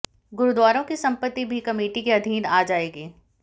गुरुद्वारों की संपत्ति भी कमेटी के अधीन आ जाएगी